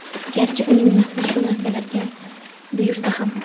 garchi uning nafsi shu narsalarga buyursa ham.